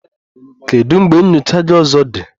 Kedu mgbe nyocha gị ọzọ dị?